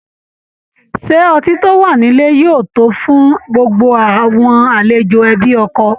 Ṣé ọtí tó wà nílẹ̀ yóò tó fún gbogbo àwọn aléjò ẹbi ọkọ?